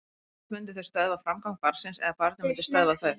Annað hvort myndu þau stöðva framgang barnsins eða barnið myndi stöðva þau.